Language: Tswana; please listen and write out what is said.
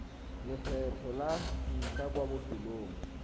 lekgetlho la ntlha kwa lefelong